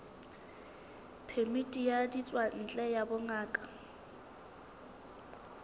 phemiti ya ditswantle ya bongaka